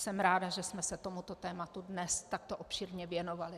Jsem ráda, že jsme se tomuto tématu dnes takto obšírně věnovali.